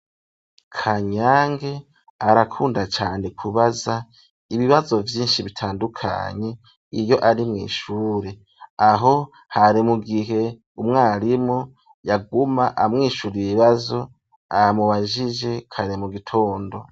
Kanyange arakunda cane kubaza ibibazo vyinshi bitandukanye iyo ari mw'ishure, aho hari mu gihe umwarimu yaguma amwishura ibibazo amubajije kare mu gitondo.